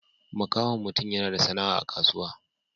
Makahon mutum yana da sana'a a kasuwa.